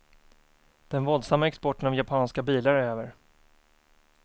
Den våldsamma exporten av japanska bilar är över.